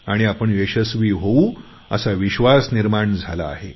आणि आपण यशस्वी होऊ असा विश्वास निर्माण झाला आहे